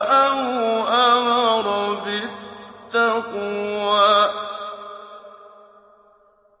أَوْ أَمَرَ بِالتَّقْوَىٰ